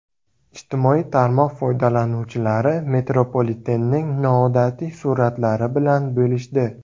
Ijtimoiy tarmoq foydalanuvchilari metropolitenning noodatiy suratlari bilan bo‘lishdi.